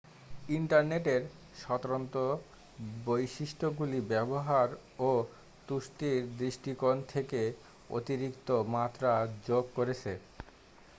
ইন্টারনেটের স্বতন্ত্র বৈশিষ্ট্যগুলি ব্যবহার ও তুষ্টির দৃষ্টিকোণ থেকে অতিরিক্ত মাত্রা যোগ করেছে